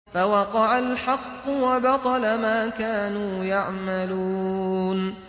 فَوَقَعَ الْحَقُّ وَبَطَلَ مَا كَانُوا يَعْمَلُونَ